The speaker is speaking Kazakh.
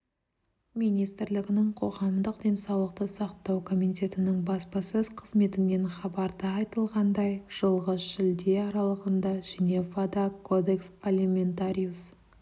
министрлігінің қоғамдық денсаулықты сақтау комитетінің баспасөз қызметінен хабарда айтылғандай жылғы шілде аралығында женевада кодекс алиментариус